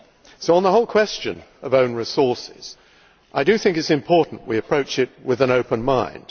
So on the whole question of own resources I do think it is important we approach it with an open mind.